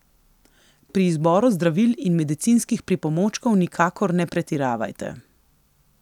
Pri izboru zdravil in medicinskih pripomočkov nikakor ne pretiravajte.